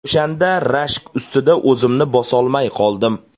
O‘shanda rashk ustida o‘zimni bosolmay qoldim.